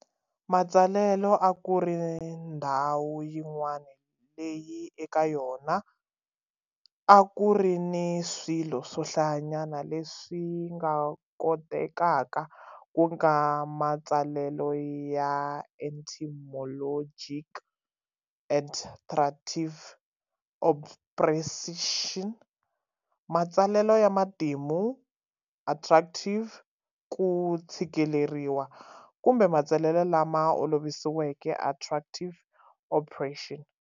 Matsalelo a ku ri ndhawu yin'wana leyi eka yona a ku ri ni swilo swo hlayanyana leswi nga kotekaka, ku nga matsalelo ya etymologic, adtractiv, obpression, matsalelo ya matimu, attractiv, ku tshikileriwa, kumbe matsalelo lama olovisiweke, atractiv, opression.